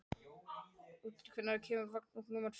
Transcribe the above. Úlftýr, hvenær kemur vagn númer fjórtán?